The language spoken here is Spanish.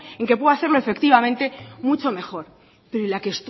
en que puede hacerlo efectivamente mucho mejor pero y la que